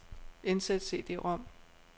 Indsæt cd-rom.